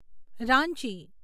Ranchi